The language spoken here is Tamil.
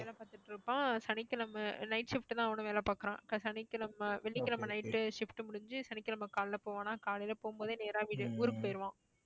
வேலை பார்த்துட்டு இருப்பான் சனிக்கிழமை night shift தான் அவனும் வேலை பார்க்கிறான் சனிக்கிழமை வெள்ளிக்கிழமை night shift முடிஞ்சு சனிக்கிழமை காலையில போவாணாம் காலையில போகும்போதே நேரா வீட்டுக்கு ஊருக்கு போயிருவான்